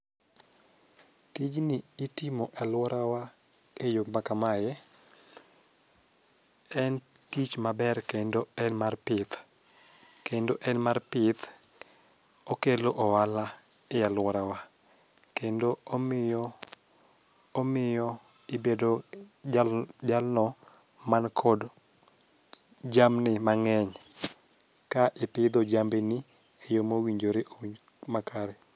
Tijni itimo aluorawa eyo maka mae en tich maber kendo en mar pith okelo ohala ealworawa kendo omiyo ibedo jalno man kod jamni mang'eny ka ipidho jambini e yo mowinjore makare.